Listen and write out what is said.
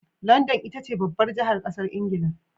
London itace babbar jahar ƙasar ingila